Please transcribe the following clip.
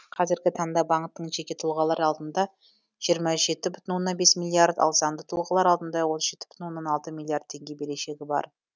қазіргі таңда банктың жеке тұлғалар алдында жиырма жеті бүтін оннан бес миллиард ал заңды тұлғалар алдында отыз жеті бүтін оннан алты миллиард теңге берешегі бар